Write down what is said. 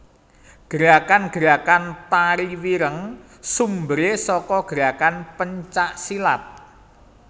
Gerakan gerakan Tari Wireng sumberé saka gerakan pencak silat